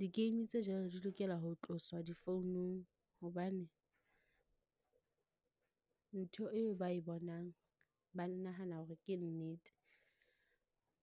Di-game tse jwalo di lokela ho tloswa difounung, hobane ntho eo ba e bonang, ba nahana hore ke nnete.